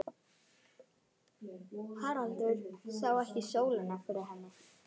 Haraldur sá ekki sólina fyrir henni.